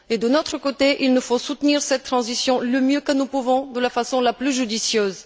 De notre côté, nous devons soutenir cette transition du mieux que nous pouvons, de la façon la plus judicieuse.